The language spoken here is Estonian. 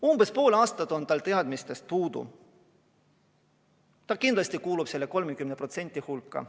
Umbes poole aasta jooksul on tal teadmistest puudu jäänud, ta kindlasti kuulub selle 30% hulka.